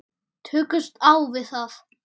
Tökumst á við það.